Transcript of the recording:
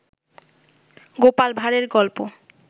গোপাল ভাড়ের গল্প